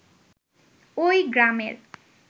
ওই গ্রামের